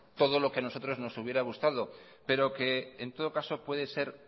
todo lo que a nosotros nos hubiera gustado pero que en todo caso puede ser